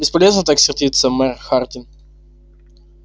бесполезно так сердиться мэр хардин